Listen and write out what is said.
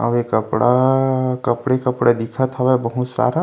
अउ ए कपड़ा कपड़े-कपड़ा दिखथ हवे बहुत सारा --